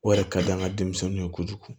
O yɛrɛ ka di an ka denmisɛnninw ye kojugu